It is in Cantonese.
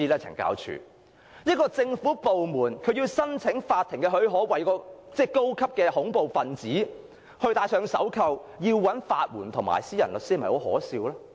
這個政府部門想向法庭申請許可，批准為該名高等恐怖分子戴上手銬，但卻要申請法援或延聘私人律師，這是否很可笑呢？